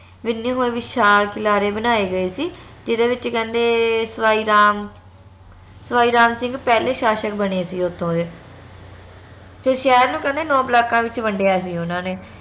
ਹੋਏ ਵਿਸ਼ਾਲ ਕਿਨਾਰੇ ਬਣਾਏ ਗਏ ਸੀ ਜਿਹਦੇ ਵਿਚ ਕਹਿੰਦੇ ਸਵਾਈ ਰਾਮ ਸਵਾਈ ਰਾਮ ਸਿੰਘ ਪਹਲੇ ਸ਼ਾਸ਼ਕ ਬਣੇ ਸੀ ਓਥੋਂ ਦੇ ਤੇ ਸ਼ਹਿਰ ਨੂੰ ਕਹਿੰਦੇ ਨੋ ਬਲਾਕਾਂ ਵਿਚ ਵੰਡੀਆਂ ਸੀ ਓਨਾ ਨੇ